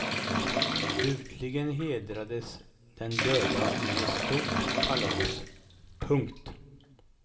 Slutligen hedrades den döda med ett stort kalas. punkt